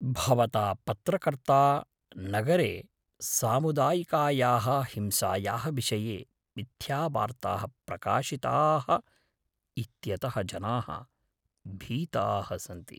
भवता पत्रकर्त्रा नगरे सामुदायिकायाः हिंसायाः विषये मिथ्यावार्ताः प्रकाशिताः इत्यतः जनाः भीताः सन्ति।